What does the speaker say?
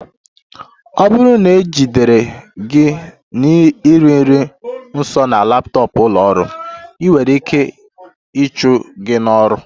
Ọ bụrụ na e jidere gị na-eri nri nso na laptọọpụ ụlọ ọrụ, ị nwere ike ịchụ gị n'ọrụ